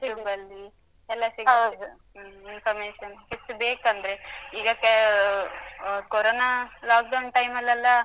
YouTube ಎಲ್ಲ ಸಿಗುತ್ತೆ. Hmm information ಎಷ್ಟು ಬೇಕಂದ್ರೆ ಈಗ ಕ ಆ ಕೊರೊನಾ lockdown time ಲ್ಲೆಲ್ಲ.